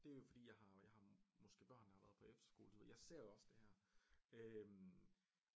Det er jo fordi jeg har måske børn der har været på efterskole du ved jeg ser også det her øh